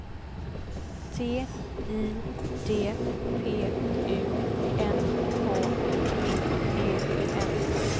T I D P U N K T E N